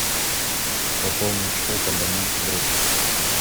пополнить счет абоненту друг